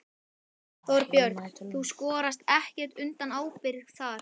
Þorbjörn: Þú skorast ekkert undan ábyrgð þar?